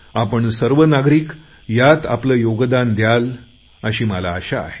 आपण सर्व नागरिक यात आपले योगदान द्याल अशी मला आशा आहे